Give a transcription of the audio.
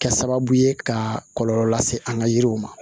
Kɛ sababu ye ka kɔlɔlɔ lase an ka yiriw ma